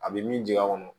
A bɛ min jigi a kɔnɔ